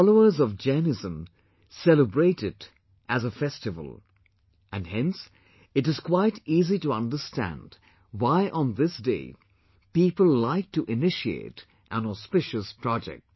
The followers of Jainism celebrate it as a festival and hence it is quite easy to understand why on this day people like to initiate an auspicious project